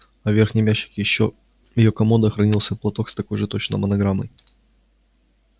а в верхнем ящике ещё комода хранился платок с такой же точно монограммой